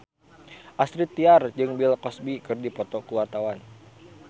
Astrid Tiar jeung Bill Cosby keur dipoto ku wartawan